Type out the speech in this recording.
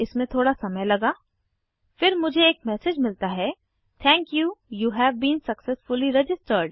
इसमें थोड़ा समय लगा फिर मुझे एक मैसेज मिलता है thank you you have been successfully registered